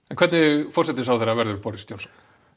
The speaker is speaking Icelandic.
en hvernig forsætisráðherra verður Boris Johnson